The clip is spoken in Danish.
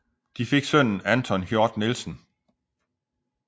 De fik sønnen Anton Hjort Nielsen